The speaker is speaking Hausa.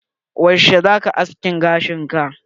Yaushe zaka askin gashin ka?